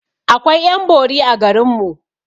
Akwai ƴan bori a garinmu